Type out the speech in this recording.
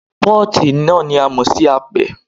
Pọ́ọ̀tì náà ni a mọ̀ sí apẹ.